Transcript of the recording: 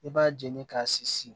I b'a jeni k'a sinsin